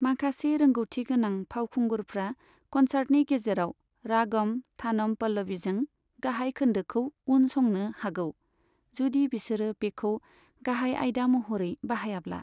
माखासे रोंगौथि गोनां फावखुंगुरफ्रा कनसार्टनि गेजेराव रागम थानम पल्लविजों गाहाय खोनदोखौ उन संनो हागौ, जुदि बिसोरो बेखौ गाहाय आइदा महरै बाहायाब्ला।